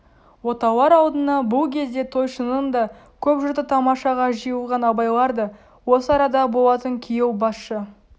отаулар алдына бұл кезде тойшының да көп жұрты тамашаға жиылған абайлар да осы арада болатын күйеу басшы